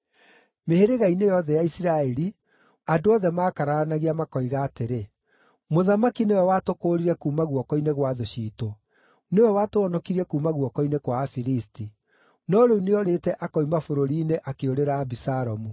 Mĩhĩrĩga-inĩ yothe ya Isiraeli, andũ othe maakararanagia makoiga atĩrĩ, “Mũthamaki nĩwe watũkũũrire kuuma guoko-inĩ gwa thũ ciitũ; nĩwe watũhonokirie kuuma guoko-inĩ kwa Afilisti. No rĩu nĩorĩte akoima bũrũri-inĩ akĩũrĩra Abisalomu;